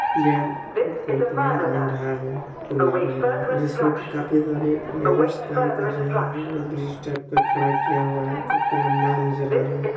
ये कोई प्लांट बन रहा है पुला बन रहा है जिसमें की काफी सारे लेबरस् काम कर रहे है और ब्रिज टाइप का खड़ा किया हुआ है काफी लंबा नजर आ रहा है।